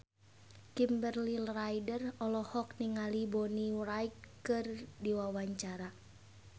Kimberly Ryder olohok ningali Bonnie Wright keur diwawancara